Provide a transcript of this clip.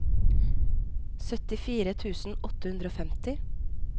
syttifire tusen åtte hundre og femti